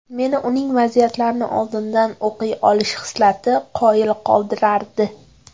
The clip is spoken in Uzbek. Meni uning vaziyatlarni oldindan o‘qiy olish xislati qoyil qoldirardi”.